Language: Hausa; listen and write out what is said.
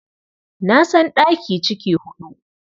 Na san ɗaki ciki huɗu.